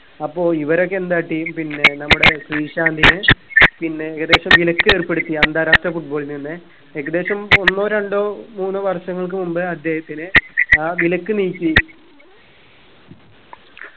അപ്പോ ഇവരൊക്കെ എന്താട്ടി പിന്നെ നമ്മുടെ ശ്രീ ശാന്തിനി പിന്നെ ഏകദേശം വിലക്കേർപ്പെടുത്തി അന്താരാഷ്ട്ര football ൽ നിന്ന് ഏകദേശം ഒന്നോ രണ്ടോ മൂന്നോ വർഷങ്ങൾക്ക് മുമ്പേ അദ്ദേഹത്തിന് ആ വിലക്ക് നീക്കി